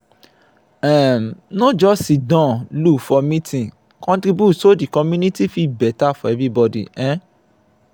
um no just siddon look for meeting contribute so the community fit better for everybody. um